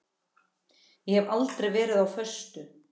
Ég hef aldrei verið á föstu.